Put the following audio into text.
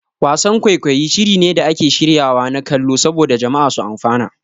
Wasan-kwaikwayi shiri ne da ake shiryawa na kallo saboda jama'a su amfana.